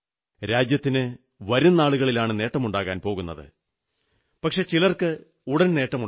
രാജ്യത്തിന് വരും നാളുകളിലാണ് നേട്ടമുണ്ടാകാൻ പോകുന്നത് പക്ഷേ ചിലർക്ക് ഉടൻ നേട്ടമുണ്ടായി